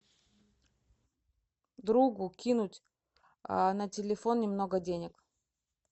другу кинуть на телефон немного денег